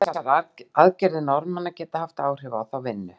En telur hann þessar aðgerðir Norðmanna geta haft áhrif á þá vinnu?